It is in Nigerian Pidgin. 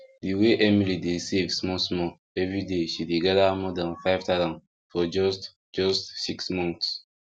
the way emily dey save small small everyday she dey gather more than 5000 for just just six months